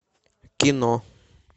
кино